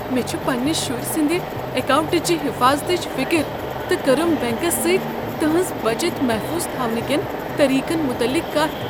مےٚ چھ پننس شُرۍ سٕندِ اکاونٹٕچ حفاظتٕچ فکر تہٕ کٔرٕم بینکس سۭتۍ تہنز بچت محفوظ تھاونہٕ کین طریقن متعلق کتھ۔